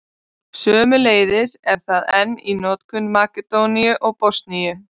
Sömuleiðis er það enn í notkun í Makedóníu og Bosníu.